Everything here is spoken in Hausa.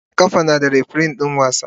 Kwallon kafa yana da refirin wasa.